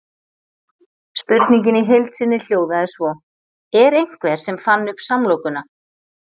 Spurningin í heild sinni hljóðaði svo: Er einhver sem fann upp samlokuna?